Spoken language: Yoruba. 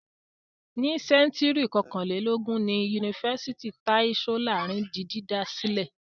Ní sẹ́ńtúrì kọkànlélógún ni Yunifásítì Tai Solarin di dídá sílẹ̀.